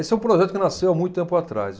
Esse é um projeto que nasceu há muito tempo atrás.